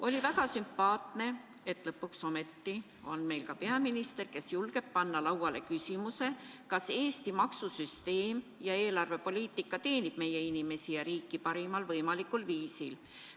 On väga sümpaatne, et lõpuks ometi on meil peaminister, kes julgeb panna lauale küsimuse, kas Eesti maksusüsteem ja eelarvepoliitika teenib meie inimesi ja riiki parimal võimalikul viisil.